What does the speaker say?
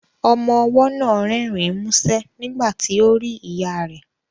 Ọmọ ọwọ́ náà rẹ́rìn músẹ́ nígbà tí ó rí ìyá rẹ̀